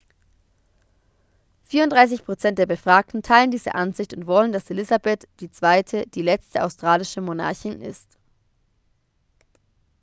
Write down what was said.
34 prozent der befragten teilen diese ansicht und wollen dass elisabeth ii. die letzte australische monarchin ist